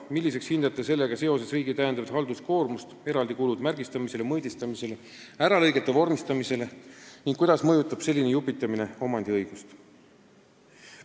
Milliseks hindate sellega seoses riigi täiendavat halduskoormust ning kuidas mõjutab selline "jupitamine" omandiõigust?